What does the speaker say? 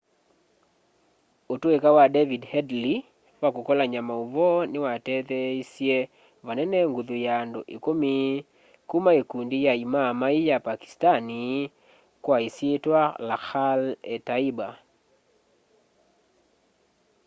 utuika wa david headley wa kukolany'a mauvoo niwatetheeisye vanene nguthu ya andu ikumi kuma ikundi ya imaaamai ya pakistani kwa isyitwa lakhar-e-taiba